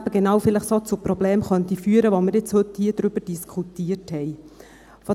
– Weil dies zu genau solchen Problemen führen könnte, über welche wir heute hier diskutiert haben.